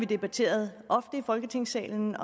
debatteret i folketingssalen